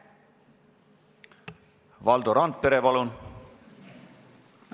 Valdo Randpere, palun!